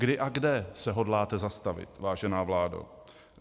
Kdy a kde se hodláte zastavit, vážená vládo?